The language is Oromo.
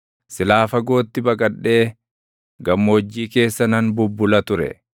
Silaa fagootti baqadhee gammoojjii keessa nan bubbula ture;